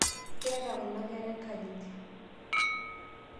keeta kuna kera enkanyit